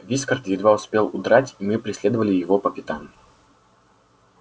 вискард едва успел удрать и мы преследовали его по пятам